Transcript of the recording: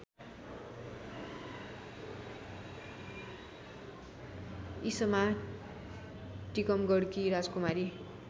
ईसमा टीकमगढकी राजकुमारी